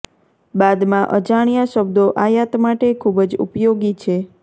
બાદમાં અજાણ્યા શબ્દો આયાત માટે ખૂબ જ ઉપયોગી છે